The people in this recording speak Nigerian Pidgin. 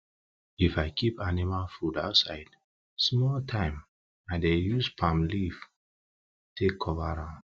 if i keep animal feed outside small time i dey use palm leaf take cover am